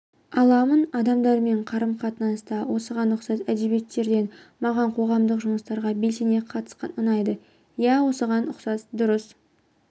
аламын адамдармен қарым-қатынаста осыған ұқсас әдебиеттерден маған қоғамдық жұмыстарға белсене қатысқан ұнайды иә осыған ұқсас дұрыс